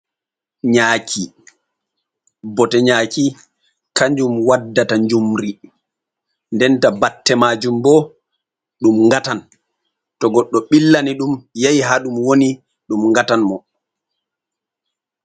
Nyaaki. Bote nyaaki kanjum waddata njumri, denta batte majum bo ɗum ngatan, to goɗɗo ɓillani ɗum yahi ha ɗum woni ɗum ngatan mo.